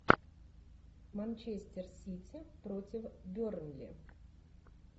манчестер сити против бернли